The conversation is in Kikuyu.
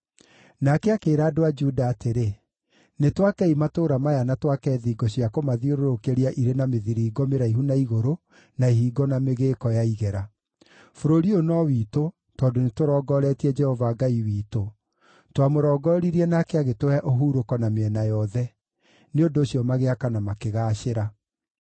Nake akĩĩra andũ a Juda atĩrĩ, “Nĩtwakei matũũra maya na twake thingo cia kũmathiũrũrũkĩria irĩ na mĩthiringo mĩraihu na igũrũ, na ihingo na mĩgĩĩko ya igera. Bũrũri ũyũ no witũ, tondũ nĩtũrongoretie Jehova Ngai witũ; twamũrongoririe nake agĩtũhe ũhurũko na mĩena yothe.” Nĩ ũndũ ũcio magĩaka na makĩgaacĩra.